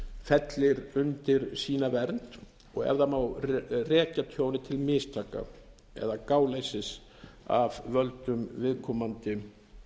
fellir undir sína vernd og ef það má rekja tjónið til mistaka eða gáleysis af völdum viðkomandi